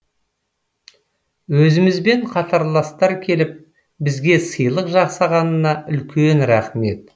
өзімізбен қатарластар келіп бізге сыйлық жасағанына үлкен рахмет